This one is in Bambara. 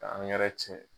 K'an yɛrɛ tiɲɛ